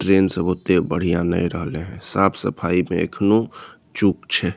Train सब ओते बढ़िया नैय रहले हेय साफ-सफाई पे एखनो चूक छै।